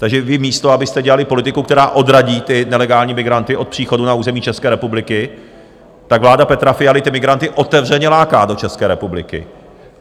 Takže vy místo abyste dělali politiku, která odradí ty nelegální migranty od příchodu na území České republiky, tak vláda Petra Fialy ty migranty otevřeně láká do České republiky.